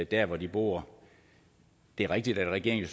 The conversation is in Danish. der hvor de bor det er rigtigt at regeringen